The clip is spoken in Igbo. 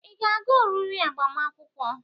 Ị ga-aga oriri agbamakwụkwọ?